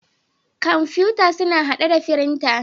Kamfutan suna hadde da frintan.